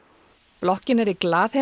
blokkin er í